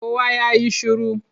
Kowa ya yi shiru!